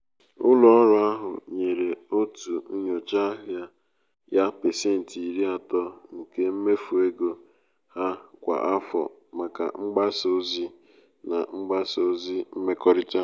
ụlọ ọrụ ahụ nyere otu nyocha ahịa ya pasentị iri atọ nke mmefu ego ha kwa afọ maka mgbasa ozi na mgbasa ozi mmekọrịta.